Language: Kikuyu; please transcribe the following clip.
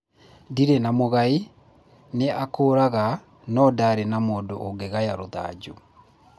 Ndirĩ na mũgai nĩ akũraga no ndarĩ na mũndũ ũngĩgaya rũthanju.